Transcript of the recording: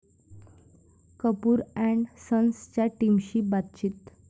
Kapoor and सन्स'च्या टीमशी बातचीत